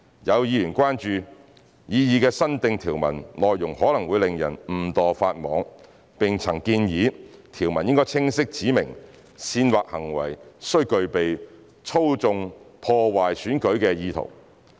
有議員關注擬議新訂條文內容可能令人誤墮法網，並曾建議條文應清晰指明煽惑行為須具備操縱、破壞選舉的意圖。